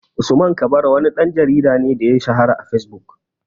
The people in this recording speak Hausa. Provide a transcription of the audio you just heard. Usman kabara wani ɗan jarida ne da ya shahara a fesbuk